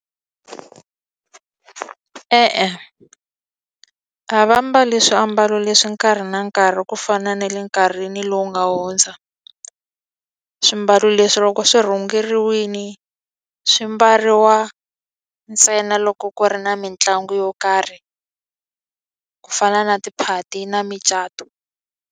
E-e a va mbali swiambalo leswi nkarhi na nkarhi ku fana na le nkarhini lowu nga hundza swimbalo leswi loko swi rhungiwini swi mbariwa ntsena loko ku ri na mitlangu yo karhi ku fana na tiphati na micato.